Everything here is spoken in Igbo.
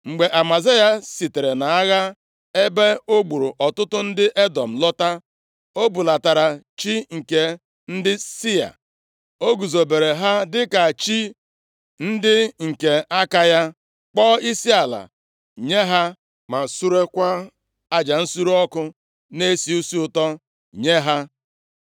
Mgbe Amazaya sitere nʼagha ebe o gburu ọtụtụ ndị Edọm lọta, o bulatara chi + 25:14 Ya bụ, arụsị nke ndị Sia. O guzobere ha dịka chi ndị nke aka ya, kpọọ isiala nye ha ma surekwa aja nsure ọkụ na-esi isi ụtọ nye ha.